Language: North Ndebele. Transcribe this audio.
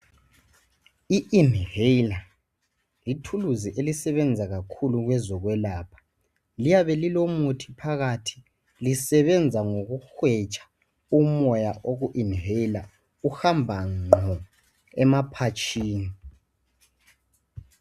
i inhaler yi thuluzi elisebenza kakhulu kwezokwelapha liyabe lilomuthi phakathi lisebenza ngokuhwetsha umoya oku inhaler uhamba nqo emaphatshini